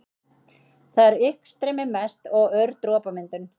Þar er uppstreymi mest og ör dropamyndun.